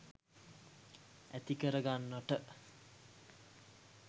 ඇතිකර ගන්නට.